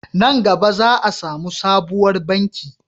Nan gaba za a samu sabuwar banki